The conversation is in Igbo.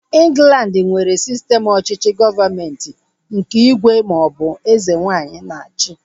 Ịnglandi nwere sistem ọchịchị gọọmenti nke ígwè ma ọ bụ eze nwaanyị na-achi